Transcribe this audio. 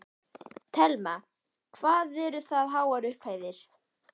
Telma: Hvað eru það háar upphæðir?